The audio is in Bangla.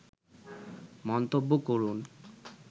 মন্তব্য করুন